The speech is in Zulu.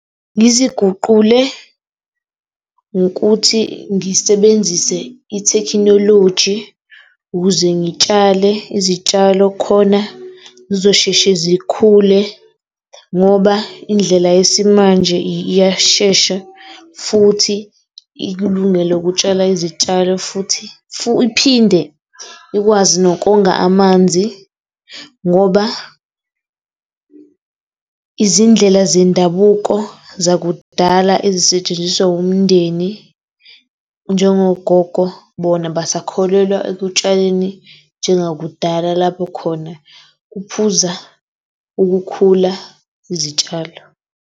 Ngiziguqule ngokuthi ngisebenzise ithekhinoloji ukuze ngitshale izitshalo khona zizosheshe zikhule ngoba indlela yesimanje iyashesha futhi ikulungele ukutshala izitshalo futhi iphinde ikwazi nokonga amanzi, ngoba izindlela zendabuko zakudala ezisetshenziswa umndeni, njengogogo bona basakholelwa ekutshaleni njengakudala lapho khona kuphuza ukukhula izitshalo.